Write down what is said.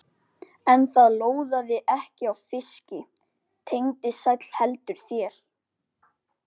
En það lóðaði ekki á fiski, Tengdi sæll, heldur þér.